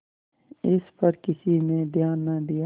इस पर किसी ने ध्यान न दिया